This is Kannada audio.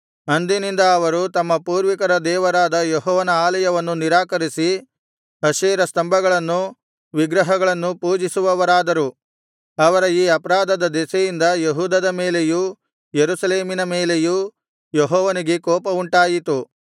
ಅಂದಿನಿಂದ ಅವರು ತಮ್ಮ ಪೂರ್ವಿಕರ ದೇವರಾದ ಯೆಹೋವನ ಆಲಯವನ್ನು ನಿರಾಕರಿಸಿ ಅಶೇರ ಸ್ತಂಭಗಳನ್ನೂ ವಿಗ್ರಹಗಳನ್ನೂ ಪೂಜಿಸುವವರಾದರು ಅವರ ಈ ಅಪರಾಧದ ದೆಸೆಯಿಂದ ಯೆಹೂದದ ಮೇಲೆಯೂ ಯೆರೂಸಲೇಮಿನ ಮೇಲೆಯೂ ಯೆಹೋವನಿಗೆ ಕೋಪವುಂಟಾಯಿತು